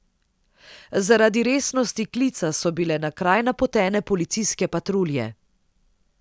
Zaradi resnosti klica so bile na kraj napotene policijske patrulje.